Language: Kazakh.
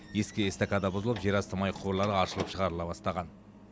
ескі эстакада бұзылып жерасты май құбырлары аршылып шығарыла бастаған